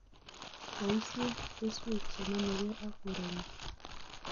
Boisie keswek che nomegei ak koreng'ung